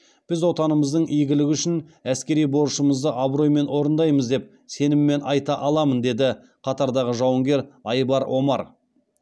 біз отанымыздың игілігі үшін әскери борышымызды абыроймен орындаймыз деп сеніммен айта аламын деді қатардағы жауынгер айбар омар